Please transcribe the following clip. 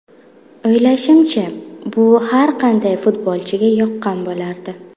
O‘ylashimcha, bu har qanday futbolchiga yoqqan bo‘lardi”.